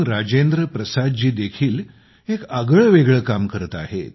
राजेंद्र प्रसादजी देखील एक आगळेवेगळे काम करत आहेत